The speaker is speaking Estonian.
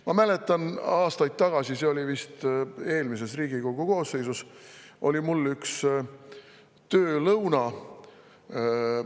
Ma mäletan, et aastaid tagasi – see oli vist eelmise Riigikogu koosseisu ajal – oli mul üks töölõuna.